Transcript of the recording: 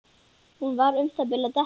Hún var um það bil að detta.